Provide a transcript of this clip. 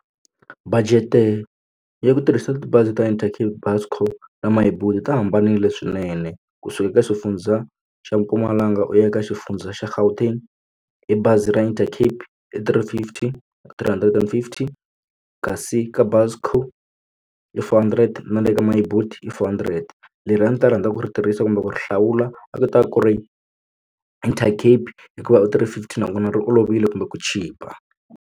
Budget ya ku tirhisa tibazi ta Intercape Busco na Myboet ti hambanile swinene kusuka ka xifundza xa Mpumalanga u ya ka xifundza xa Gauteng hi bazi ra Intercape i three fifty three hundred and fifteen kasi ka Busco i four hundred na le ka Myboet i four hundred leri a ndzi ta rhandza ku ri tirhisa kumbe ku ri hlawula va kota ku ri Intercape hikuva u three fifty nakona ri olovile kumbe ku chipa.